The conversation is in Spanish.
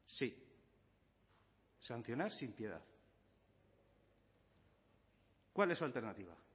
sí sancionar sin piedad cuál es su alternativa